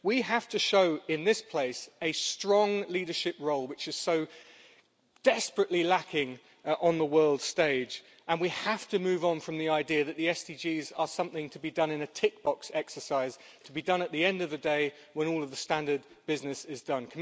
We have to show in this place a strong leadership role, which is so desperately lacking on the world stage, and we have to move on from the idea that the SDGs are something to be done in a tick-box exercise at the end of the day when all of the standard business is done.